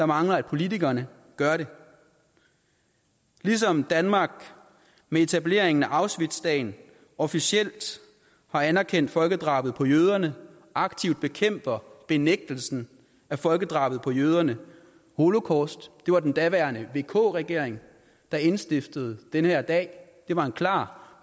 mangler at politikerne gør det ligesom danmark med etableringen af auschwitzdagen officielt har anerkendt folkedrabet på jøderne og aktivt bekæmper benægtelsen af folkedrabet på jøderne holocaust det var den daværende vk regering der indstiftede den her dag det var en klar